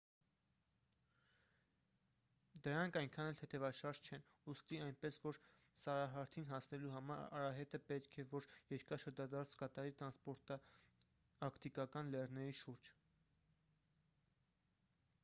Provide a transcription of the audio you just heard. դրանք այնքան էլ թեթևաշարժ չեն ուստի այնպես որ սարահարթին հասնելու համար արահետը պետք է որ երկար շրջադարձ կատարի տրանսանտարկտիկական լեռների շուրջ